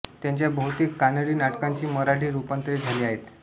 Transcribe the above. त्यांच्या बहुतेक कानडी नाटकांची मराठी रूपांतरे झाली आहेत